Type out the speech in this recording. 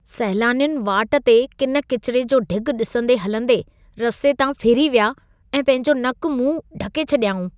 सैलानियुनि वाट ते किन किचिरे जो ढ़िॻ ॾिसंदे हलंदे रस्ते तां फिरी विया ऐं पंहिंजो नक-मुंहुं ढके छॾियाऊं।